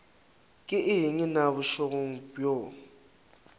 ke eng na bošego bjo